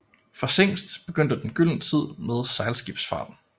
For Zingst begyndte den gyldne tid med sejlskibsfarten